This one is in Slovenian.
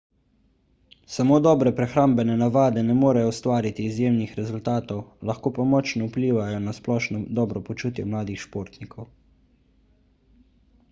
samo dobre prehrambne navade ne morejo ustvariti izjemnih rezultatov lahko pa močno vplivajo na splošno dobro počutje mladih športnikov